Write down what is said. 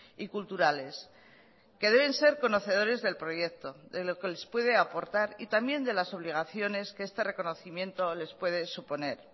y culturales que deben ser conocedores del proyecto de lo que les puede aportar y también de las obligaciones que este reconocimiento les puede suponer